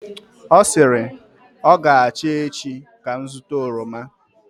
ọ sịrị, ọ ga-acha echi ka m zụta oroma